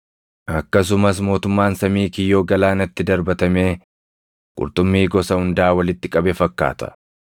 “Akkasumas mootummaan samii kiyyoo galaanatti darbatamee qurxummii gosa hundaa walitti qabe fakkaata.